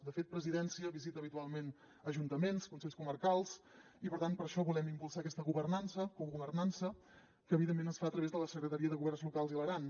de fet presidència visita habitualment ajuntaments consells comarcals i per tant per això volem impulsar aquesta governança cogovernança que evidentment es fa a través de la secretaria de governs locals i l’aran